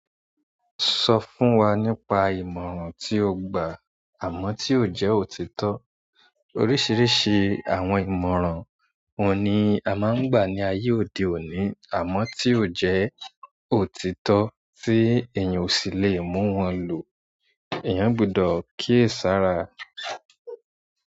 Sọ fún wa nípa ìmọ̀ràn tí o gbà àmọ́ tí ó jẹ́ òtítọ́. Oríṣiríṣi àwọn ìmọ̀ràn wọ́n ni a máa ń gbà ní ayé òde òní àmọ́ tí ó jẹ́, òtítọ́ tí èèyàn ò sì lè mú wọn lò. Eeyàn gbọdọ̀ kíyesára.